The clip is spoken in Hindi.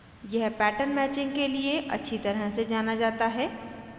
यह पैटर्न मैचिंग के लिए अच्छी तरह से जाना जाता है